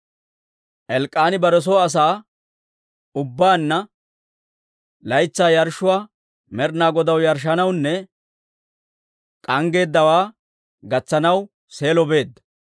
Elk'k'aani bare soo asaa ubbaanna laytsaa yarshshuwaa Med'inaa Godaw yarshshanawunne k'anggeeddawaa gatsanaw Seelo beedda;